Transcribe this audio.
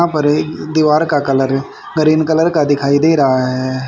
यहां पर दीवार का कलर ग्रीन कलर का दिखाई दे रहा है।